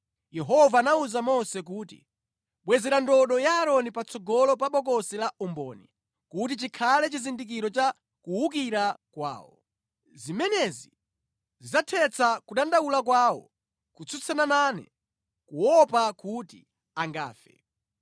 Yehova anawuza Mose kuti, “Bwezera ndodo ya Aaroni patsogolo pa Bokosi la Umboni, kuti chikhale chizindikiro cha kuwukira kwawo. Zimenezi zidzathetsa kudandaula kwawo kotsutsana nane, kuopa kuti angafe.”